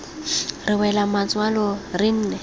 re wela matswalo re ne